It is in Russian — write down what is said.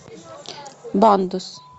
бандос